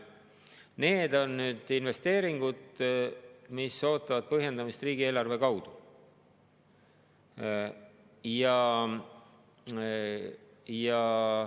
Need on investeeringud, mis ootavad põhjendamist riigieelarve kaudu.